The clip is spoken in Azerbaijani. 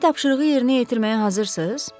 Demək, tapşırığı yerinə yetirməyə hazırsız?